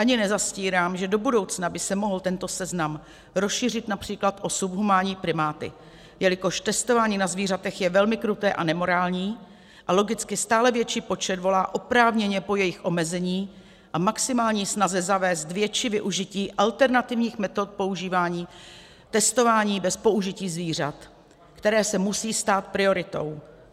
Ani nezastírám, že do budoucna by se mohl tento seznam rozšířit například o subhumánní primáty, jelikož testování na zvířatech je velmi kruté a nemorální a logicky stále větší počet volá oprávněně po jejich omezení a maximální snaze zavést větší využití alternativních metod používání testování bez použití zvířat, které se musí stát prioritou.